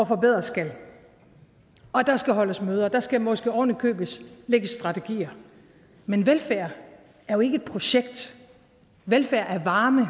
forbedres skal og der skal holdes møder der skal måske oven i købet lægges strategier men velfærd er jo ikke et projekt velfærd er varme